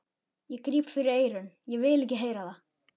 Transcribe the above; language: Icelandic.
Ég gríp fyrir eyrun, ég vil ekki heyra það!